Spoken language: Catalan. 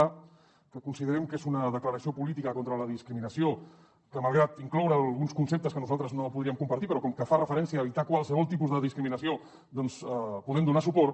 a que considerem que és una declaració política contra la discriminació que malgrat que inclou alguns conceptes que nosaltres no podríem compartir com que fa referència a evitar qualsevol tipus de discriminació doncs podem donar hi suport